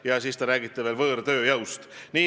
–, ja siis te räägite veel võõrtööjõust.